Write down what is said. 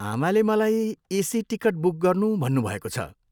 आमाले मलाई AC ticket book गर्नु भन्नुभएको छ।